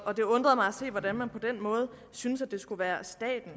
og det undrede mig at se hvordan man på den måde synes det skal være staten